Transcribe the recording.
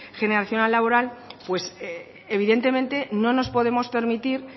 generacional laboral pues evidentemente no nos podemos permitir